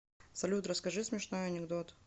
салют расскажи смешной анекдот